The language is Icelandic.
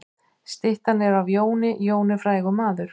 Styttan er af Jóni. Jón er frægur maður.